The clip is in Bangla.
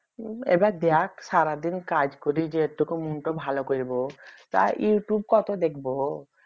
এবার দেখ সারাদিন কাজ করে যেটুকু মনটা ভালো করব তাই youtube কত দেখব